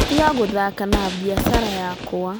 Tiga gũthaka na biacara yakwa